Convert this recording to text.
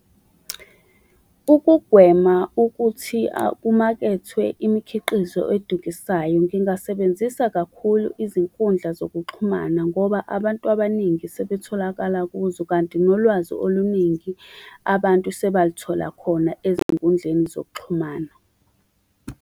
Ukugwema ukuthi kumakethwe imikhiqizo edukisayo, ngingasebenzisa kakhulu izinkundla zokuxhumana ngoba abantu abaningi sebetholakala kuzo, kanti nolwazi oluningi abantu sebalithola khona ezinkundleni zokuxhumana.